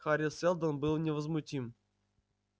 хари сэлдон был невозмутим